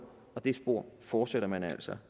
og det spor fortsætter man altså